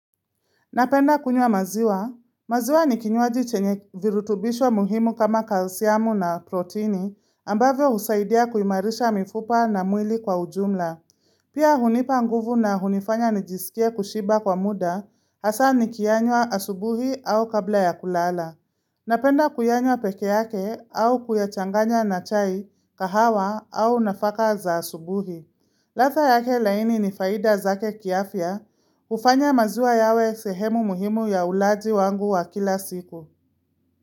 Napenda kunywa maziwa. Maziwa ni kinywaji chenye virutubisho muhimu kama kalisiamu na protini ambavyo husaidia kuimarisha mifupa na mwili kwa ujumla. Pia hunipa nguvu na hunifanya nijisikie kushiba kwa muda hasa nikianywa asubuhi au kabla ya kulala. Napenda kuyanywa peke yake au kuyachanganya na chai kahawa au nafaka za asubuhi. Ladha yake laini ni faida zake kiafia hufanya maziwa yawe sehemu muhimu ya ulaji wangu wa kila siku.